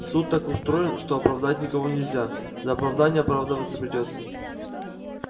суд так устроен что оправдать никого нельзя за оправдание оправдываться придётся